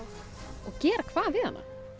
og gera hvað við hana